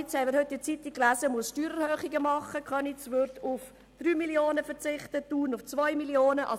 Köniz, das Steuererhöhungen vornehmen muss, wie wir heute lesen konnten, würde auf 3 Mio. Franken verzichten, Thun auf 2 Mio. Franken.